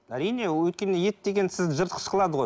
әрине ол өйткені ет деген сізді жыртқыш қылады ғой